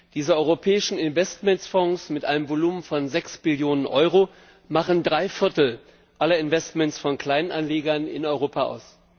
Diese europäischen Investmentfonds mit einem Volumen von 6 Billionen Euro machen Dreiviertel aller Investments von Kleinanlegern in Europa aus.